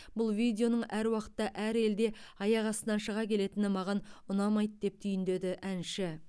бұл видеоның әр уақытта әр елде аяқ астынан шыға келетіні маған ұнамайды деп түйіндеді әнші